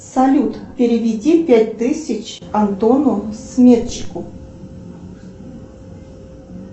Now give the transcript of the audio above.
салют переведи пять тысяч антону сметчику